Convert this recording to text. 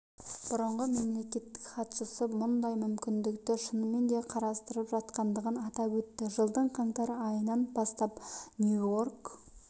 бұрынғы мемлекеттік хатшысы мұндай мүмкіндікті шынымен де қарастырып жатқандығын атап өтті жылдың қаңтар айынан бастап нью-йорк